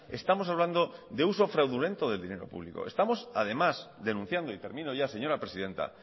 estamos hablando de uso fraudulento del dinero público estamos además denunciando y termino ya señora presidenta